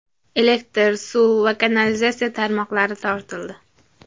Elektr, suv va kanalizatsiya tarmoqlari tortildi.